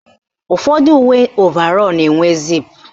Ụfọdụ uwe ovarọ na-enwe ziipu